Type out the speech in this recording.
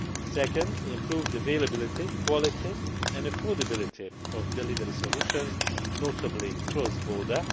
SMEs second, improved availability, quality and affordability of delivery solutions, notably cross border